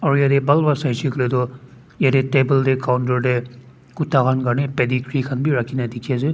Aro yate bhal bra sai she koi la tu yate table yate counter de kuda khan karna khan be rakhe kena dekhe ase.